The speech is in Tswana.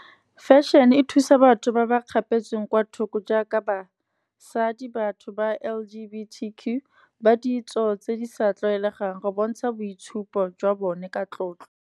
Fashion-e thusa batho ba ba kgapetsweng kwa thoko, jaaka basadi batho ba L_G_B_T_Q, ba ditso tse di sa tlwaelegang go bontsha boitshupo jwa bone ka tlotlo.